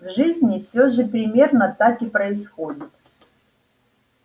в жизни всё же примерно так и происходит